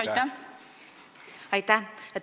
Aitäh!